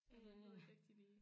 Ja jeg ved ikke rigtig lige